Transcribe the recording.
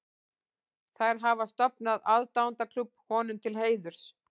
Þær hafa stofnað aðdáendaklúbb honum til heiðurs.